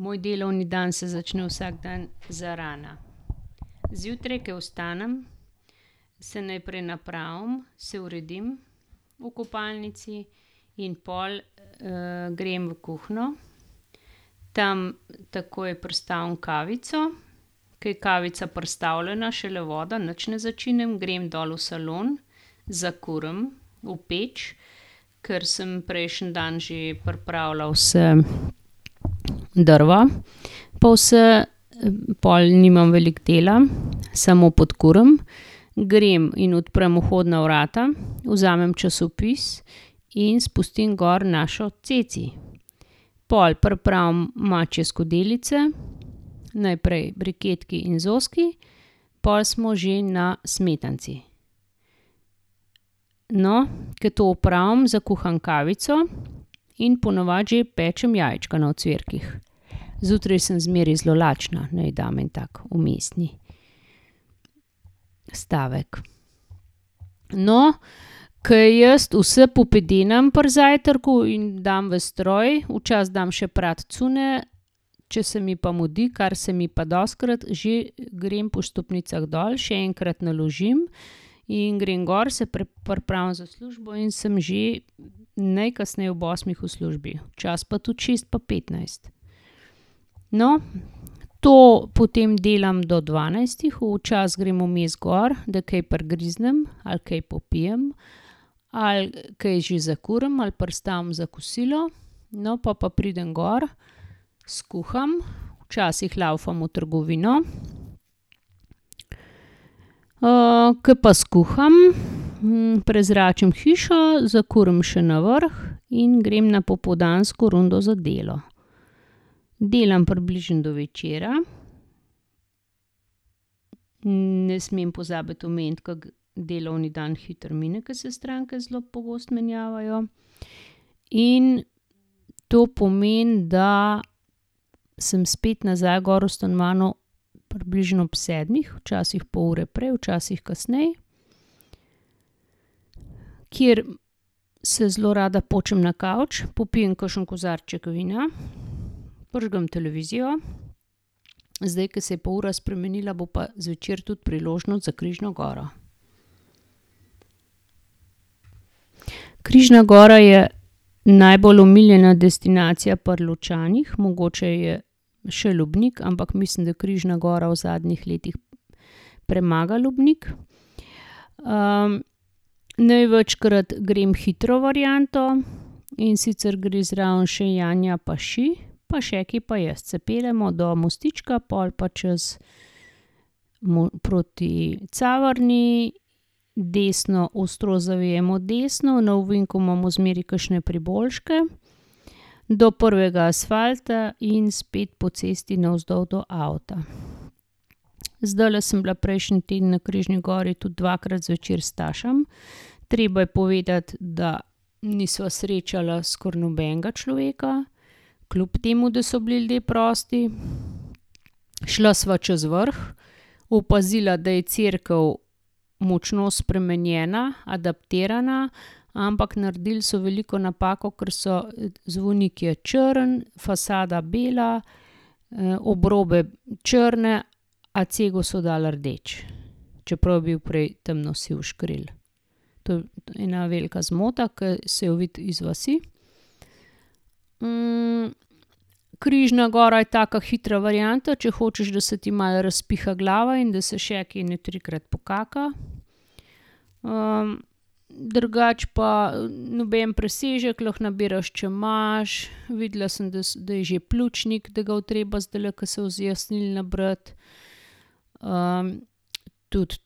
Moj delovni dan se začne vsak dan zarana. Zjutraj, ke vstanem, se najprej napravim, se uredim v kopalnici in pol, grem v kuhinjo. Tam takoj pristavim kavico. Ker je kavica pristavljena, šele voda, nič ne začinim, grem dol v salon, zakurim v peč, ker sem prejšnji dan že pripravila vsa drva pa vse. Pol nimam veliko dela. Samo podkurim. Grem in odprem vhodna vrata, vzamem časopis in spustim gor našo Ceci. Pol pripravim mačje skodelice. Najprej briketki in zoski, pol smo že na smetanici. No, ke to opravim, zakuham kavico in po navadi že pečem jajčka na ocvirkih. Zjutraj sem zmeraj zelo lačna, naj dam en tak vmesni stavek. No, ke jaz vas popedenam pri zajtrku in dam v stroj, včasih dam še prati cunje, če se mi pa mudi, kar se mi pa dostikrat, že grem po stopnicah dol, še enkrat naložim in grem gor, se pripravim za službo in sem že najkasneje ob osmih v službi. Včasih pa tudi šest pa petnajst. No, to potem delam do dvanajstih. Včasih grem vmes gor, da kaj prigriznem, ali kaj popijem, ali kaj že zakurim ali pristavim za kosilo. No, pol pa pridem gor, skuham, včasih lavfam v trgovino. ke pa skuham, prezračim hišo, zakurim še na vrh in grem na popoldansko rundo za delo. Delam približno do večera. Ne smem pozabiti omeniti, kako delovni dan hitro mine, ke se stranke zelo pogosto menjavajo. In to pomeni, da sem spet nazaj gor v stanovanju približno ob sedmih, včasih pol ure prej, včasih kasneje, kjer se zelo rada počim na kavč, popijem kakšen kozarček vina, prižgem televizijo. Zdaj, ke se je pa ura spremenila, bo pa zvečer tudi priložnost za Križno goro. Križna gora je najbolj omiljena destinacija pri Ločanih, mogoče je še Lubnik, ampak mislim, da Križna gora v zadnjih letih premaga Lubnik. največkrat grem hitro varianto, in sicer gre zraven še Janja pa Ši, pa Šeki pa jaz. Se peljemo do mostička, pol pa čez proti Caverni, desno, ostro zavijemo desno, na ovinku imamo zmeraj kakšne priboljške. Do prvega asfalta in spet po cesti navzdol do avta. Zdajle sem bila prejšnji teden na Križni gori tudi dvakrat zvečer s Stašem. Treba je povedati, da nisva srečala skoraj nobenega človeka, kljub temu da so bili ljudje prosti. Šla sva čez Vrh, opazila, da je cerkev močno spremenjena, adaptirana, ampak naredili so veliko napako, ker so, zvonik je črn, fasada bela, obrobe črne, a cegel so dali rdeč. Čeprav je bil prej temno siv skril. To je ena velika zmota, ke se jo vidi iz vasi. Križna gora ja taka hitra varianta, če hočeš, da se ti malo razpiha glava in da se Šeki ene trikrat pokaka. drugače pa noben presežek, lahko nabiraš čemaž, videla sem, da da je že pljučnik, da ga bo treba zdajle, ko se bo zjasnilo, nabrati. tudi,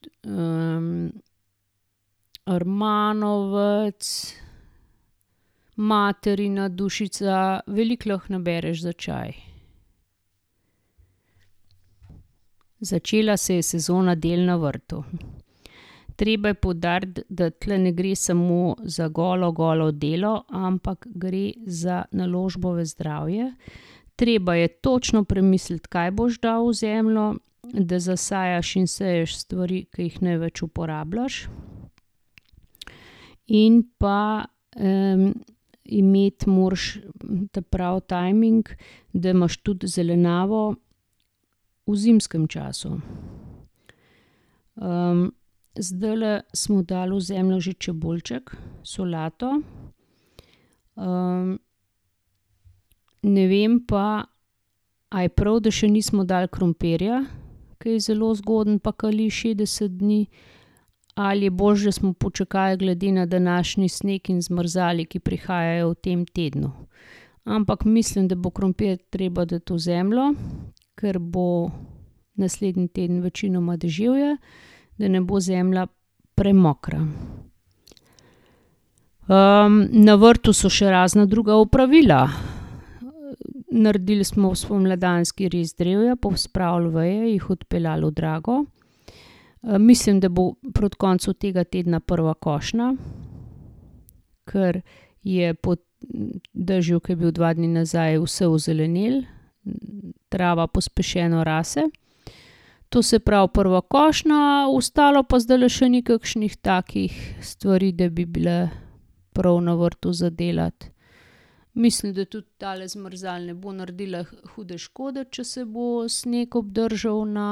rmanovec, materina dušica. Veliko lahko nabereš za čaj. Začela se je sezona del na vrtu. Treba je poudariti, da tule ne gre samo za golo, golo delo, ampak gre za naložbo v zdravje. Treba je točno premisliti, kaj boš dal v zemljo, da zasajaš in seješ stvari, ki jih največ uporabljaš. In pa, imeti moraš ta pravi tajming, da imaš tudi zelenjavo v zimskem času. zdajle smo dali v zemljo že čebulček, solato, ne vem pa, a je prav, da še nismo dali krompirja, ke je zelo zgoden pa kali šestdeset dni ali je boljše, da smo počakali glede na današnji sneg in zmrzali, ki prihajajo v tem tednu. Ampak mislim, da bo krompir treba dati v zemljo, ker bo naslednji teden večinoma deževje. Da ne bo zemlja premokra. na vrtu so še razna druga opravila. Naredili smo spomladanski rez drevja, pospravili veje, jih odpeljali v drago, mislim, da bo proti koncu tega tedna prva košnja, ker je po dežju, ke je bil dva dni nazaj, vse ozelenelo. Trava pospešeno rase. To se pravi, prva košnja, ostalo pa zdajle še ni kakšnih takih stvari, da bi bile prav na vrtu za delati. Mislim, da tudi tale zmrzal ne bo naredila hude škode, če se bo sneg obdržal na,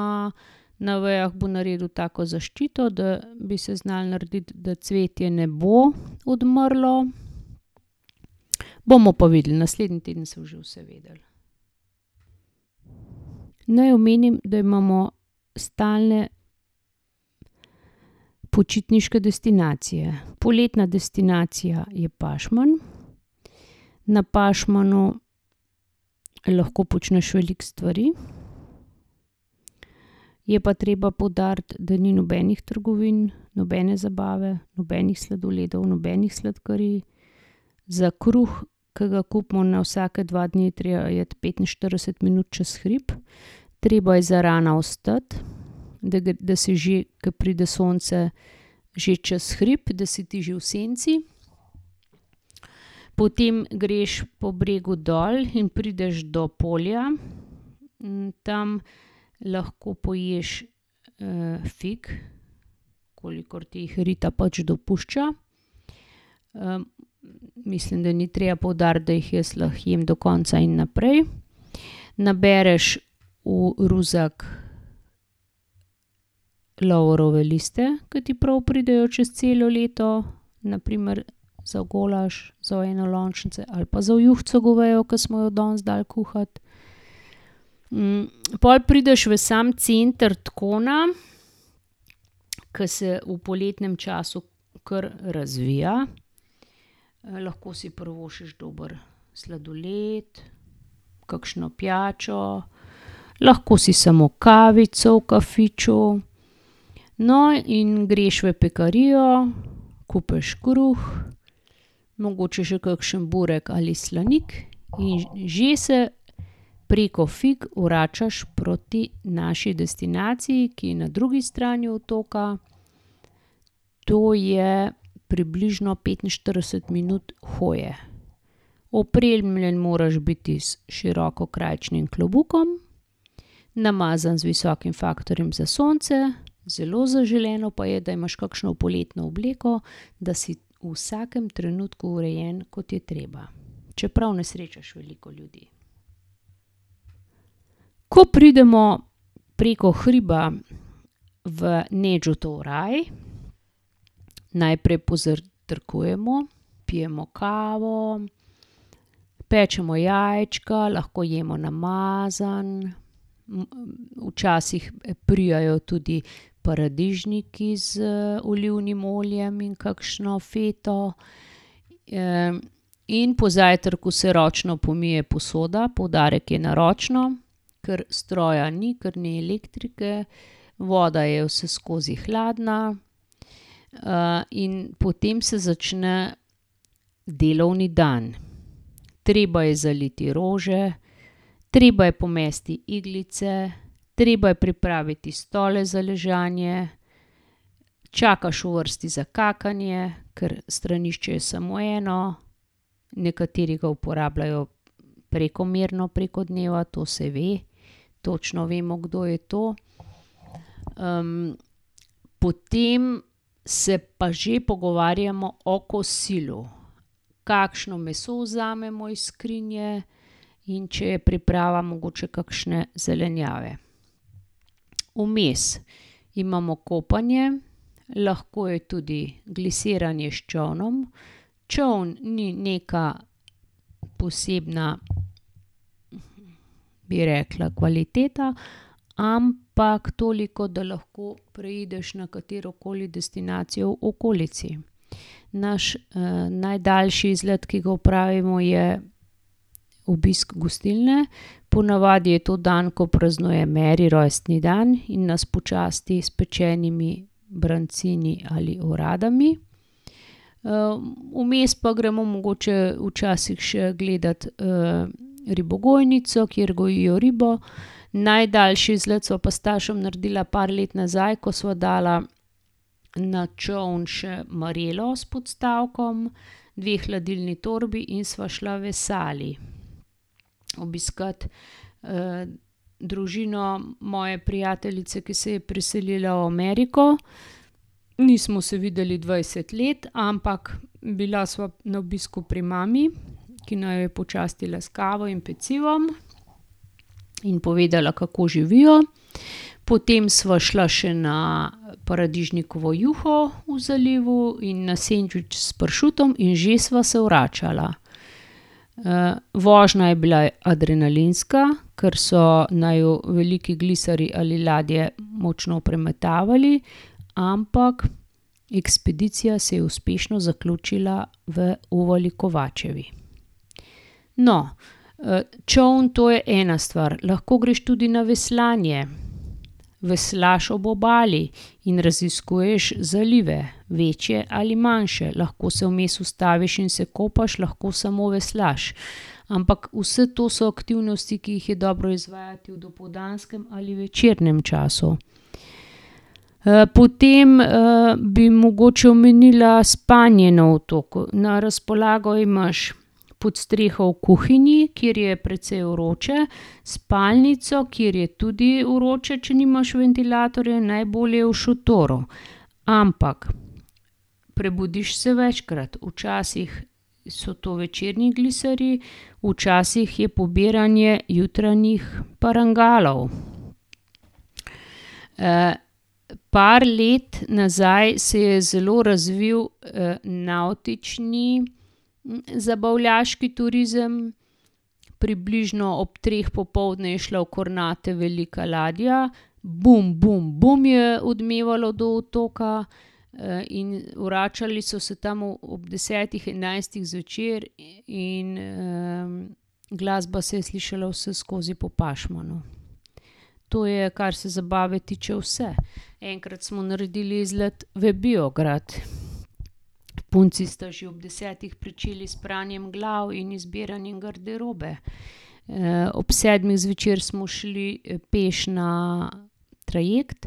na vejah, bo naredil tako zaščito, da bi se znalo narediti, da cvetje ne bo odmrlo. Bomo pa videli, naslednji teden se bo že vse vedelo. Naj omenim, da imamo stalne počitniške destinacije. Poletna destinacija je Pašman. Na Pašmanu lahko počneš veliko stvari, je pa treba poudariti, da ni nobenih trgovin, nobene zabave, nobenih sladoledov, nobenih sladkarij. Za kruh, ke ga kupimo na vsake dva dni, je treba iti petinštirideset minut čez hrib. Treba je zarana vstati, da da si že, ke pride sonce, že čez hrib, da si ti že v senci. Potem greš po bregu dol in prideš do polja. tam lahko poješ, fig, kolikor ti jih rita pač dopušča. mislim, da ni treba poudariti, da jih jaz lahko jem do konca in naprej. Nabereš v ruzak lovorove liste, ke ti prav pridejo čez celo leto, na primer za golaž, za v enolončnice ali pa za v juhico govejo, ke smo jo danes dali kuhati. pol prideš v sam center Tkona, ke se v poletnem času kar razvija, lahko si privoščiš dober sladoled, kakšno pijačo, lahko si samo kavico v kafiču. No, in greš v pekarijo, kupiš kruh, mogoče še kakšen burek ali slanik, in že se preko fig vračaš proti naši destinaciji, ki je na drugi strani otoka. To je približno petinštirideset minut hoje. Opremljen moraš biti s širokokrajčnim klobukom, namazano z visokim faktorjem za sonce, zelo zaželeno pa je, da imaš kakšno poletno obleko, da si v vsakem trenutku urejen, kot je treba. Čeprav ne srečaš veliko ljudi. Ko pridemo preko hriba v Nedžutov raj, najprej pozajtrkujemo, pijemo kavo, pečemo jajčka, lahko jemo namazano, včasih prijajo tudi paradižniki z olivnim oljem in kakšno feto. in po zajtrku se ročno pomije posoda, poudarek je na ročno, ker stroja ni, ker ni elektrike. Voda je vseskozi hladna. in potem se začne delovni dan. Treba je zaliti rože, treba je pomesti iglice, treba je pripraviti stole za ležanje, čakaš v vrsti za kakanje, ker stranišče je samo eno. Nekateri ga uporabljajo prekomerno preko dneva, to se ve. Točno vemo, kdo je to. potem se pa že pogovarjamo o kosilu. Kakšno meso vzamemo iz skrinje, in če je priprava mogoče kakšne zelenjave. Vmes imamo kopanje, lahko je tudi glisiranje s čolnom. Čoln ni neka posebna, bi rekla, kvaliteta, ampak toliko, da lahko preideš na katerokoli destinacijo v okolici. Naš, najdaljši izlet, ki ga opravimo, je obisk gostilne, po navadi je to dan, ko praznuje Meri rojstni dan in nas počasti s pečenimi brancini ali oradami. vmes pa gremo mogoče včasih še gledat, ribogojnico, kjer gojijo ribo, najdaljši izlet sva pa s Stašem naredila par let nazaj, ko sva dala na čoln še marelo s podstavkom, dve hladilni torbi in sva šla v Sali obiskat, družino moje prijateljice, ki se je preselila v Ameriko. Nismo se videli dvajset let, ampak bila sva na obisku pri mami, ki naju je počastila s kavo in pecivom in povedala, kako živijo. Potem sva šla še na paradižnikovo juho v zalivu in na sendvič s pršutom in že sva se vračala. vožnja je bila adrenalinska, ker so naju veliki gliserji ali ladje močno premetavali, ampak ekspedicija se je uspešno zaključila v Uvali Kovačevi. No, čoln, to je ena stvar. Lahko greš tudi na veslanje. Veslaš ob obali in raziskuješ zalive, večje ali manjše. Lahko se vmes ustaviš in se kopaš, lahko samo veslaš. Ampak vas to so aktivnosti, ki jih je dobro izvajati v dopoldanskem ali večernem času. potem, bi mogoče omenila spanje na otoku. Na razpolago imaš podstreho v kuhinji, kjer je precej vroče, spalnico, kjer je tudi vroče, če nimaš ventilatorja, in najbolje v šotoru. Ampak prebudiš se večkrat. Včasih so to večerni gliserji, včasih je pobiranje jutranjih parangalov. par let nazaj se je zelo razvili, navtični zabavljaški turizem. Približno ob treh popoldne je šla v Kornate velika ladja, je odmevalo do otoka, in vračali so se tam ob desetih, enajstih zvečer, in, glasba se je slišala vseskozi po Pašmanu. To je, kar se zabave tiče, vse. Enkrat smo naredili izlet v Biograd. Punci sta že ob desetih pričeli s pranjem glavi in izbiranjem garderobe. ob sedmih zvečer smo šli peš na trajekt,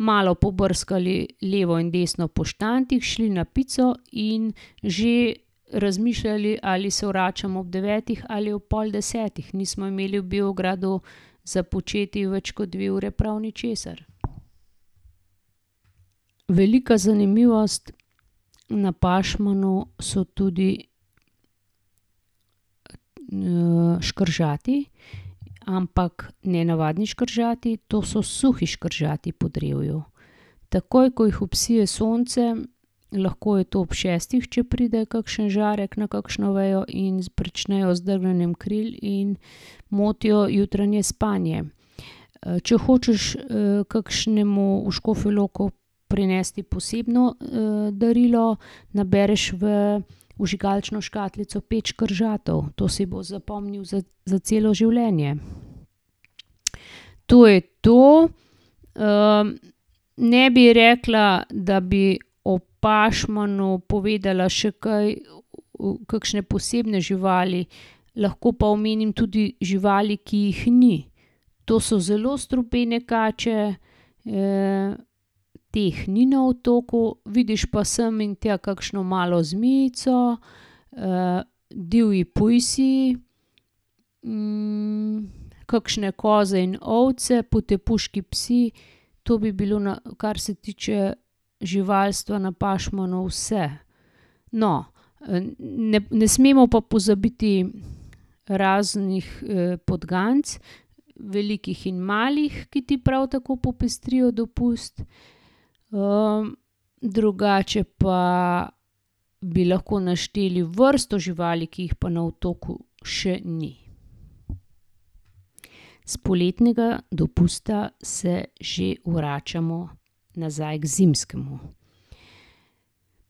malo pobrskali levo in desno po štantih, šli na pico in že razmišljali, ali se vračamo ob devetih ali ob pol desetih. Nismo imeli v Biogradu za početi več kot dve ure prav ničesar. Velika zanimivost na Pašmanu so tudi, škržati, ampak ne navadni škržati, to so suhi škržati po drevju. Takoj, ko jih obsije sonce, lahko je to ob šestih, če pride kakšen žarek na kakšno vejo, in pričnejo z drgnjenjem kril in motijo jutranje spanje. če hočeš, kakšnemu v Škofjo Loko prinesti posebno, darilo, nabereš v vžigalično škatlico pet škržatov. To si bo zapomnil za, za celo življenje. To je to. ne bi rekla, da bi o Pašmanu povedala še kaj, kakšne posebne živali. Lahko pa omenim tudi živali, ki jih ni. To so zelo strupene kače, teh ni na otoku, vidiš pa sem in tja kakšno malo zmijico, divji pujsi, kakšne koze in ovce, potepuški psi. To bi bilo kar se tiče živalstva na Pašmanu, vse. No, ne smemo pa pozabiti raznih, podganic, velikih in malih, ki ti prav tako popestrijo dopust. drugače pa bi lahko našteli vrsto živali, ki jih pa na otoku še ni. S poletnega dopusta se že vračamo nazaj k zimskemu.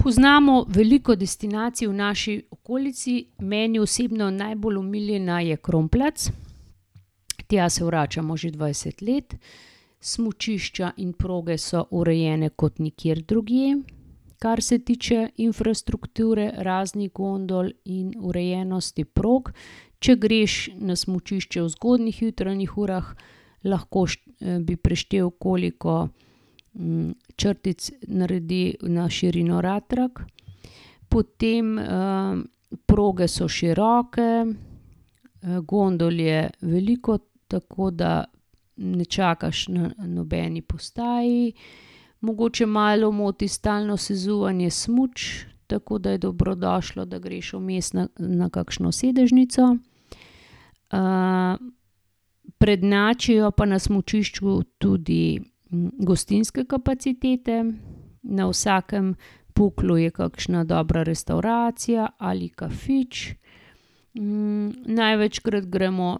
Poznamo veliko destinacij v naši okolici. Meni osebno najbolj omiljena je Kronplatz. Tja se vračamo že dvajset let. Smučišča in proge so urejene kot nikjer drugje, kar se tiče infrastrukture, raznih gondol in urejenosti prog. Če greš na smučišče v zgodnjih jutranjih urah, lahko bi preštel, koliko, črtic naredi na širino ratrak. Potem, proge so široke, gondol je veliko, tako da ne čakaš na nobeni postaji. Mogoče malo moti stalno sezuvanje smuč, tako da je dobrodošlo, da greš vmes na, na kakšno sedežnico. prednjačijo pa na smučišču tudi gostinske kapacitete. Na vsakem puklu je kakšna dobra restavracija ali kafič. največkrat gremo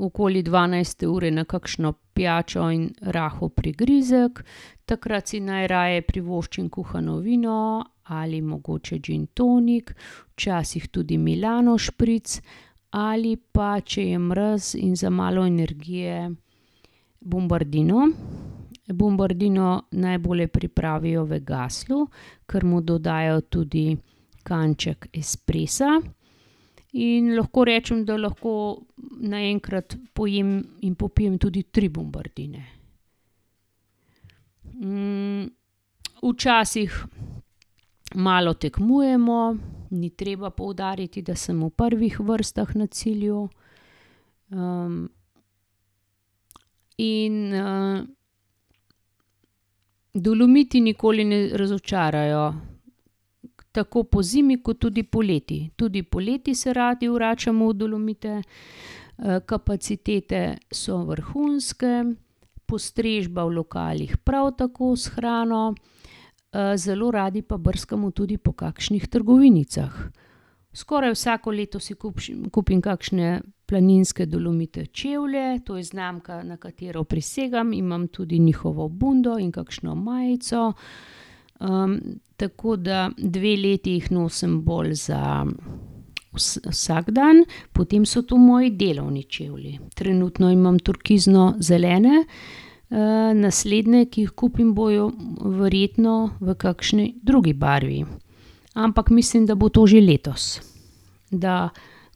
okoli dvanajste ure na kakšno pijačo in rahel prigrizek. Takrat si najraje privoščim kuhano vino ali mogoče gin tonik, včasih tudi Milano spritz. Ali pa, če je mraz in za malo energije, bombardino. Bombardino najbolje pripravijo v Gasslu, ker mu dodajo tudi kanček espressa, in lahko rečem, da lahko naenkrat pojem in popijem tudi tri bombardine. včasih malo tekmujmo. Ni treba poudariti, da sem v prvih vrstah na cilju. in, Dolomiti nikoli ne razočarajo. Tako pozimi kot tudi poleti. Tudi poleti se radi vračamo v Dolomite. kapacitete so vrhunske, postrežba v lokalih prav tako s hrano. zelo radi pa brskamo tudi po kakšnih trgovinicah. Skoraj vsako leto si kupim kakšne planinske Dolomite čevlje, to je znamka, na katero prisegam. Imam tudi njihovo bundo in kakšno majico. tako da dve leti jih nosim bolj za vsak dan, potem so to moji delovni čevlji. Trenutno imam turkizno zelene, naslednje, ki jih kupim, bojo verjetno v kakšni drugi barvi. Ampak mislim, da bo to že letos. Da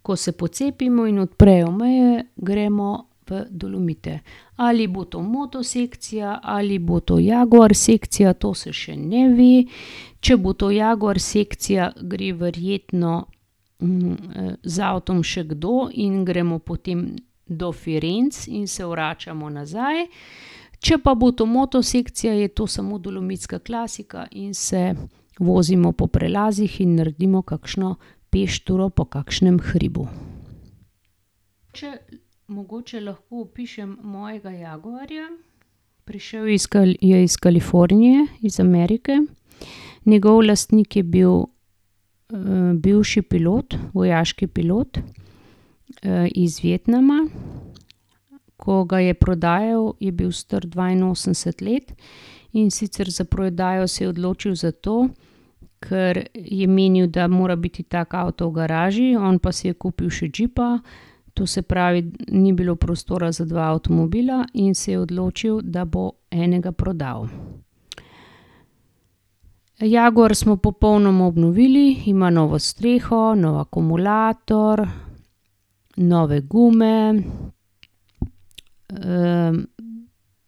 ko se pocepimo in odprejo meje, gremo v Dolomite. Ali bo to moto sekcija ali bo to jaguar sekcija, to se še ne ve. Če bo to jaguar sekcija, gre verjetno, z avtom še kdo in gremo potem do Firenc in se vračamo nazaj. Če pa bo to moto sekcija, bo to samo dolomitska klasika in se vozimo po prelazih in naredimo kakšno peš turo po kakšnem hribu. Če mogoče lahko opišem mojega jaguarja. Prišel je iz je iz Kalifornije, iz Amerike. Njegov lastnik je bil, bivši pilot, vojaški pilot, iz Vietnama. Ko ga je prodajal, je bil star dvainosemdeset let, in sicer za prodajo se je odločil zato, ker je menili, da mora biti tako avto v garaži, on pa si je kupil še džipa. To se pravi, ni bilo prostora za dva avtomobila in se je odločil, da bo enega prodal. Jaguar smo popolnoma obnovili, ima novo streho, nov akumulator, nove gume,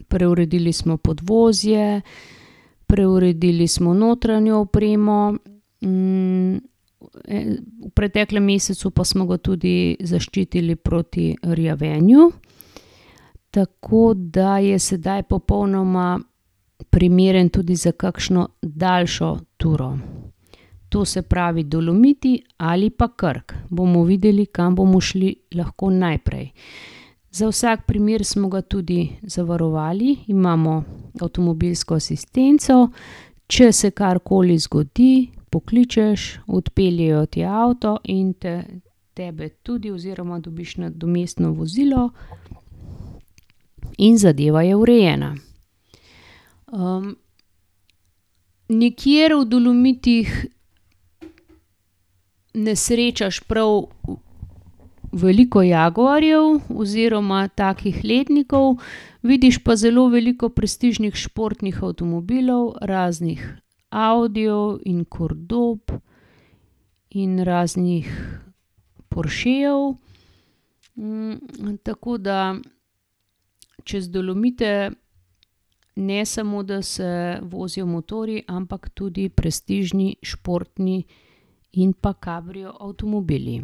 preuredili smo podvozje, preuredili smo notranjo opremo, v preteklem mesecu pa smo ga tudi zaščitili proti rjavenju. Tako da je sedaj popolnoma primeren tudi za kakšno daljšo turo. To se pravi, Dolomiti ali pa Krk. Bomo videli, kam bomo šli lahko najprej. Za vsak primer smo ga tudi zavarovali, imamo avtomobilsko asistenco. Če se karkoli zgodi, pokličeš, odpeljejo ti avto in te, tebe tudi oziroma dobiš nadomestno vozilo in zadeva je urejena. nikjer v Dolomitih ne srečaš prav veliko jaguarjev oziroma takih letnikov, vidiš pa zelo veliko prestižnih športnih avtomobilov, raznih audijev in cordob, in raznih porschejev. tako da čez Dolomite ne samo, da se vozijo motorji, ampak tudi prestižni športni in pa kabrioavtomobili.